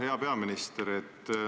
Hea peaminister!